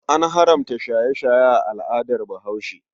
An haramta shaye-shaye a al'adar Bahaushe.